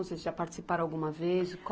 Vocês já participaram alguma vez?